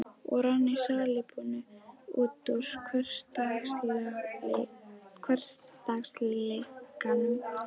Og rann í salíbunu út úr hversdagsleikanum.